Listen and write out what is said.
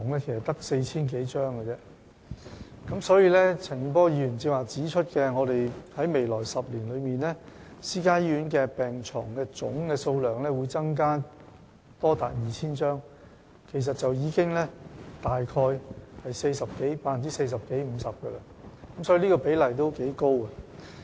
正如陳健波議員剛才指出，我們在未來10年內，私營醫院病床的總數目會增加多達 2,000 張，其實已接近 40% 至 50%， 這個比例可算頗高。